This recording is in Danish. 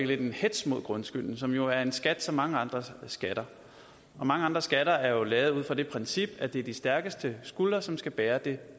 lidt en hetz mod grundskylden som jo er en skat som mange andre skatter og mange andre skatter er lavet ud fra det princip at det er de stærkeste skuldre som skal bære de